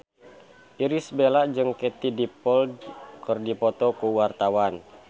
Irish Bella jeung Katie Dippold keur dipoto ku wartawan